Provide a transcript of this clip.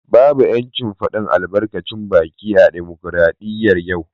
Babu ‘yancin fadin albarkacin baki a dimokradiyyar yau